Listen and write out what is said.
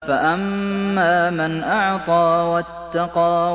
فَأَمَّا مَنْ أَعْطَىٰ وَاتَّقَىٰ